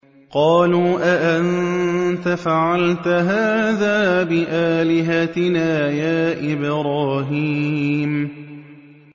قَالُوا أَأَنتَ فَعَلْتَ هَٰذَا بِآلِهَتِنَا يَا إِبْرَاهِيمُ